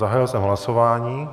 Zahájil jsem hlasování.